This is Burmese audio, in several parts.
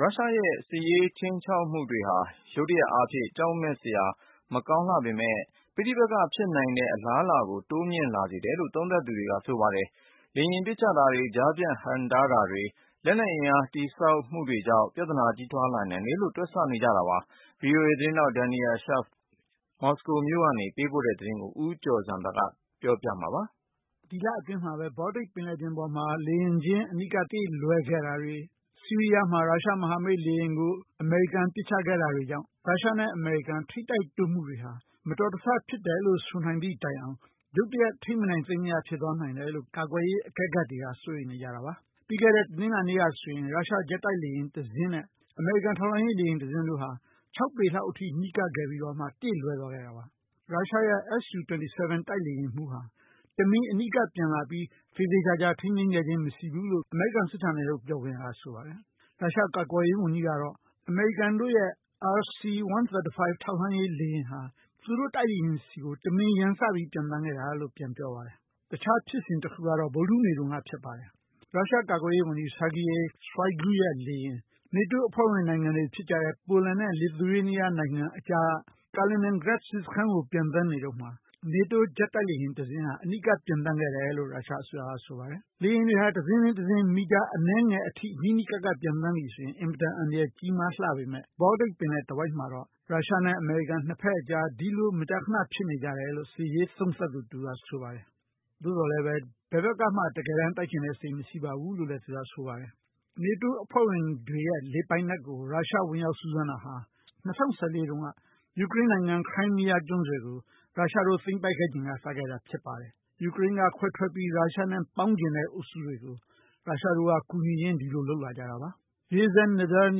ရုရှားရဲ့စစ်ရေးခြိမ်းခြောက်မှုတွေဟာ ရုတ်တရက်အားဖြင့် ကြောက်စရာမကောင်းလှပေမဲ့ ပဋိပက္ခ ဖြစ်နိုင်တဲ့ အလားအလာ ကို တိုးမြင့်လာစေတယ်လို့ သုံးသပ်သူတွေက ဆိုနေကြပါတယ်။ လေယာဉ်ပစ်ချတာတွေ ကြားဖြတ်ဟန့်တားတာတွေ လက်နက်အင်အား တည်ဆောက်မှုတွေကြောင့် မှားယွင်းတွက်ချက်မှုနဲ့ မတော်တဆ ပြသနာကြီးထွား လာနိုင်တယ်လို့ တွက်ဆနေကြတာပါ။ VOA သတင်းထောက် Daniel Schearf မော်စကို ကပေးပို့တဲ့ သုံးသပ်ချက်ကို ဦးကျော်ဇံသာ ကတင်ပြမှာဖြစ်ပါတယ်။ ဒီလအတွင်းမှာပဲ Baltic ပင်လယ်ပြင်ပေါ်မှာ လေယာဉ်ချင်း အနီးကပ် တေ့လွဲခဲ့တာတွေ၊ ဆီးရီးယားမှာ ရုရှားမဟာမိတ်လေယာဉ်ကို အမေရိကန်ပစ်ချခဲ့တာတွေကြောင့် ရုရှားနဲ့ အမေရိကန်ထိပ်တိုက်တိုးမှုတွေဟာ မတော်တဆဖြစ်တယ်လို့ ဆိုနိုင်သည့်တိုင်အောင် ရုတ်တရက်ထိန်းမနိုင်သိမ်းမရ ဖြစ်သွားနိုင်တယ်လို့ ကာကွယ်ရေးအကဲခတ်တွေက စိုးရိမ်နေကြတာပါ။ ပြီးခဲ့တဲ့တနင်္လာနေ့ကဆိုရင် ရုရှားဂျက်တိုက်လေယာဉ်တစင်းနဲ့ အမေရိကန်ထောက်လှမ်းရေးလေယာဉ်တစင်းတို့ ခြောက်ပေလောက်အထိ နီးကပ်ခဲ့ပြီးတော့ တေ့လွဲသွားခဲ့တာပါ။ ရုရှားရဲ့SU-27 တိုက်လေယာဉ်မှူးဟာ တမင်အနီးကပ်ပျံလာပြီး သေသေချာချာ ထိန်းသိမ်းခဲ့ခြင်း မရှိဘူးလို့ အမေရိကန်စစ်ဌာနချုပ်ကပြောပါတယ်။ ရုရှားကာကွယ်ရေးဝန်ကြီး ကတော့ အမေရိကန်တို့ရဲ့RC-135 ထောက်လှမ်းရေးလေယာဉ်ဟာ သူတို့တိုက်လေယာဉ်ဆီကို တမင်ရန်စပြီး ပျံသန်းခဲ့တာလို့ ပြန်ပြောပါတယ်။ တခြားဖြစ်စဉ်တခုကတော့ ဗုဒ္ဓဟူးနေ့တုန်းက ဖြစ်ပါတယ်။ ရုရှားကာကွယ်ရေးဝန်ကြီး Sergei Shoigu ရဲ့လေယာဉ် နေတိုးအဖွဲ့ဝင်တွေဖြစ်ကြတဲ့ Poland နဲ့ Lithuania နိုင်ငံအကြားက Kaliningrad စစ်စခန်းကို ပျံသန်းနေတုန်းမှာ နေတိုးဂျက် တိုက်လေယာဉ်တစင်းဟာ အနီးကပ်ပျံသန်းခဲ့တယ်လို့ ရုရှားအစိုးရကဆိုပါတယ်။ လေယာဉ်တွေဟာ တစင်းပြီးတစင်း မီတာအနည်းငယ် နီးနီးကပ်ကပ် ပျံသန်းပြီဆိုရင် အင်မတန်အန္တရာယ်ကြီးမားလှပေမဲ့ Baltic ပင်လယ်တဝိုက်မှာတော့ ရုရှားနဲ့အမေရိကန်ကြား ဒီလိုမကြာခဏ ဖြစ်နေကျတယ်လို့ စစ်ရေးသုံးသပ်သူတဦးက ဆိုပါတယ်။ သို့သော်လည်းပဲ ဘယ်ဘက်ကမှ တိုက်ချင်တဲ့စိတ် မရှိပါဘူးလို့လည်း သူကဆိုပါတယ်။ နေတိုးအဖွဲ့ဝင်တွေရဲ့လေပိုင်နက်ကို ရုရှားကဝင်ရောက်စူးစမ်းတာဟာ ၂၀၁၄တုန်းက ယူကရိန်းနိုင်ငံ Crimean ကျွန်းဆွယ်ကို ရုရှားတို့သိမ်းပိုက်ခဲ့ချိန်က စတင်ခဲ့တာဖြစ်ပါတယ်။ ယူကရိန်းကခွဲထွက်ပြီး ရုရှားနဲ့ပေါင်းချင်တဲ့အုပ်စုတွေကို ရုရှားတို့က ကူညီရင်း ဒီလိုလုပ်လာကြတာပါ။ Yezhednevny Zhurnal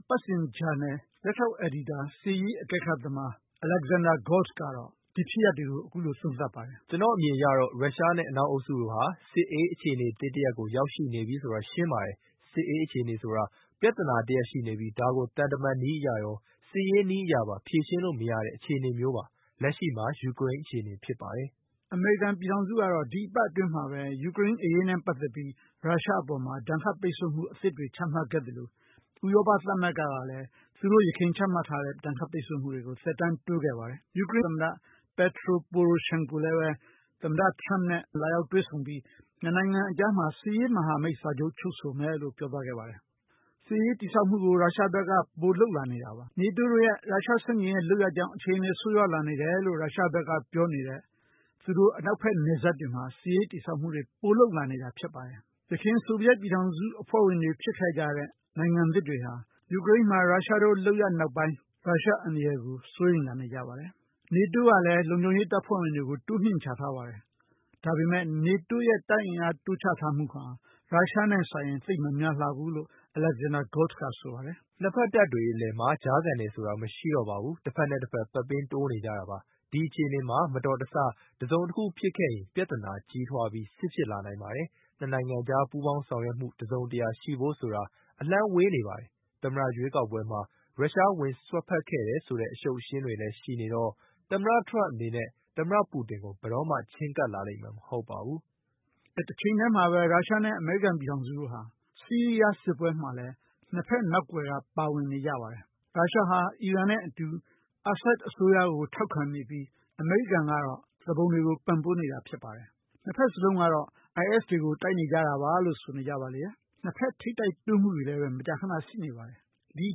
အပတ်စဉ်ဂျာနယ် လက်ထောက် အယ်ဒီတာ စစ်ရေးအကဲခတ်သမား Alexander Golts ကတော့ ဒီဖြစ်ရပ်တွေကို အခုလိုသုံးသပ်ပါတယ်။ " ကျနော့်အမြင်အရတော့ ရုရှားနဲ့အနောက်အုပ်စုတို့ဟာ စစ်အေးအခြေအနေသစ်တရပ်ကို ရောက်ရှိနေပြီဆိုတာ ရှင်းပါတယ်။ စစ်အေးအခြေအနေဆိုတာ ပြသနာတရပ်ရှိနေပြီး ဒါကို သံတမန်နည်းအရရော စစ်ရေးနည်းအရပါ ဖြေရှင်းလို့မရတဲ့အခြေအနေမျိုးပါ။ လက်ရှိမှာ ယူကရိန်းအခြေအနေဖြစ်ပါတယ်။" အမေရိကန်ပြည်ထောင်စုကတော့ ဒီသီတင်းပတ်အတွင်းမှာပဲ ယူကရိန်းအရေးနဲ့ ပတ်သက်ပြီး ရုရှား အပေါ်မှာ ဒဏ်ခတ်ပိတ်ဆို့မှုအသစ်တွေ ချမှတ်ခဲ့သလို ဥရောပသမဂ္ဂ ကလည်း သူတို့ ယခင်ချမှတ်ထားခဲ့တဲ့ ဒဏ်ခတ်ပိတ်ဆို့မှုတွေကို သက်တမ်းတိုးခဲ့ပါတယ်။ ယူကရိန်းသမ္မတ Petro Poroshenko လည်းပဲ သမ္မတ Trump နဲ့ လာရောက်တွေ့ဆုံပြီး နှစ်နိုင်ငံအကြားမှာ စစ်ရေးမဟာမိတ်စာချုပ် ချုပ်ဆိုမယ်လို့ ပြောသွားခဲ့ပါတယ်။ စစ်ရေးတည်ဆောက်မှုကို ရုရှားဘက်က ပိုလုပ်လာနေတာပါ။ နေတိုးတို့ရဲ့ ရုရှား ဆန့်ကျင်ရေး လုပ်ရပ်ကြောင့် အခြေအနေဆိုးရွားလာနေတယ်လို့ ရုရှားဘက်က ပြောနေတဲ့ သူတို့အနောက်ဘက်နယ်စပ်တွေမှာ စစ်ရေးတည်ဆောက်မှုတွေ ပိုလုပ်လာနေတာဖြစ်ပါတယ်။ ယခင်ဆိုဗီယက်ပြည်ထောင်စုအဖွဲ့ဝင်တွေဖြစ်ခဲ့ကြတဲ့ နိုင်ငံသစ်တွေဟာ ယူကရိန်းမှာ ရုရှားတို့လုပ်ရပ်နောက်ပိုင်း ရုရှားအန္တရာယ်ကို စိုးရိမ်လာနေကြပါတယ်။ နေတိုးကလည်းပဲ လုံခြုံရေးတပ်ဖွဲ့တွေကို တိုးမြှင့်ချထားပါတယ်။ ဒါပေမဲ့ နေတိုးရဲ့ တပ်အင်အား တိုးချထားမှုဟာ ရုရှားနဲ့စာရင် သိပ်မများလှဘူးလို့ Alexander Golts က ဆိုပါတယ်။ "နှစ်ဘက်တပ်တွေအလည်မှာ ကြားခံတယ်ဆိုတာ မရှိတော့ပါဘူး။ တဘက်နဲ့တဘက် ပက်ပင်းတိုးနေကြတာပါ။ ဒီအခြေအနေမှာ မတော်တဆ တစုံတခုဖြစ်ခဲ့ရင် ပြသနာကြီးထွားပြီး စစ်ဖြစ်လာနိုင်ပါတယ်။ နှစ်နိုင်ငံကြား ပူးပေါင်းဆောင်ရွက်မှု တစုံတရာရှိဖို့ဆိုတာ အလှမ်းဝေးနေပါတယ်။ သမ္မတရွေးကောက်ပွဲမှာ ရုရှား ဝင်စွက်ဖက်ခဲ့တယ် ဆိုတဲ့ အရှုပ်အရှင်းတွေလည်း ရှိနေတော့ သမ္မတ ထရမ့်အနေနဲ့ သမ္မတပူတင်ကို ဘယ်တော့မှ ချဉ်းကပ်လာလိမ့်မယ်မဟုတ်ပါဘူး။ " တချိန်တည်းမှာပဲ ရုရှားနဲ့အမေရိကန်ပြည်ထောင်စုတို့ဟာ ဆီးရီးယားစစ်ပွဲမှာ နှစ်ဘက်နောက်ကွယ်က ပါဝင်နေကြပါတယ်။ ရုရှားဟာ အီရန်နဲ့အတူ အာဆတ်အစိုးရကို ထောက်ခံနေပြီး အမေရိကန်ကတော့ သူပုန်တွေကို ပံ့ပိုးနေတာဖြစ်ပါတယ်။ နှစ်ဘက်စလုံးကတော့ IS တွေကို တိုက်နေကြတာပါလို့ ဆိုနေကြပါလေရဲ့။ နှစ်ဘက်ထိပ်တိုက်တိုးမှုတွေလည်း မကြာခဏ ရှိနေပါတယ်။ ဒီအ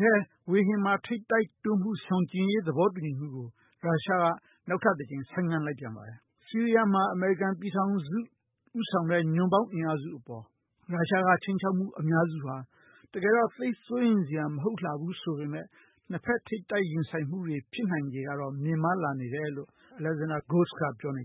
ထဲ ဝေဟင်မှာ နှစ်ဘက်ထိပ်တိုက်တိုးမှုရှောင်ကြဉ်ရေးသဘောတူညီမှုကို ရုရှားက နောက်ထပ်တကြိမ် ဆိုင်းငံ့လိုက်ပြန်ပါတယ်။ ဆီးရီးယားမှာ အမေရိကန်ပြည်ထောင်စု ဦးဆောင်တဲ့ ညွှန့်ပေါင်းအင်အားစုအပေါ် ရုရှားက ခြိမ်းခြောက်မှု အများစုဟာ တကယ်တော့ သိပ်စိုးရိမ်စရာမဟုတ်လှဘူးဆိုပေမဲ့ နှစ်ဘက်ထိပ်တိုက်ရင်ဆိုင်မှု ဖြစ်နိုင်ခြေကတော့ မြင့်မားလာနေတယ်လို့ Alexander Golts က ပြောနေကြ